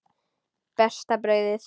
Besta brauðið